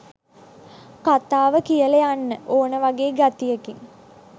කතාව කියලා යන්න ඕනෙ වගේ ගතියකින්